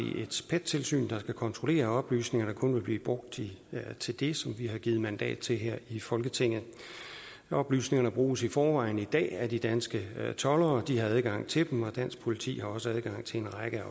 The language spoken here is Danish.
et pet tilsyn der skal kontrollere at oplysningerne kun vil blive brugt til det som vi har givet mandat til her i folketinget oplysningerne bruges i forvejen i dag af de danske toldere de har adgang til dem og dansk politi har også adgang til en række